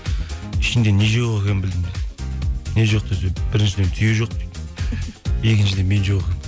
ішінде не жоқ екенін білдім не жоқ десе біріншіден түйе жоқ екіншіден мен жоқ екенмін